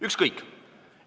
Ükskõik!